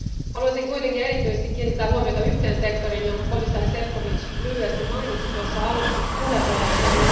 Haluaisin kuitenkin erityisesti kiinnittää huomiota yhteen sektoriin, jonka komissaari Šefčovič lyhyesti mainitsi tuossa alustuspuheenvuorossaan.